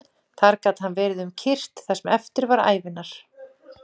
Þar gat hann verið um kyrrt það sem eftir var ævinnar.